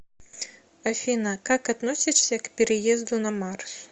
афина как относишься к переезду на марс